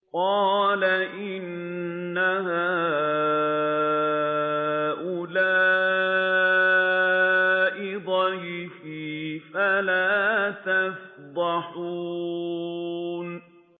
قَالَ إِنَّ هَٰؤُلَاءِ ضَيْفِي فَلَا تَفْضَحُونِ